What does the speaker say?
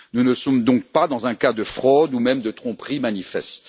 Nous ne sommes donc pas dans un cas de fraude ou même de tromperie manifeste.